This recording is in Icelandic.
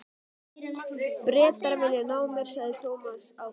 Bretar vilja ná mér sagði Thomas ákveðinn.